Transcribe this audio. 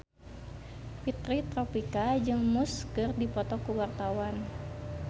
Fitri Tropika jeung Muse keur dipoto ku wartawan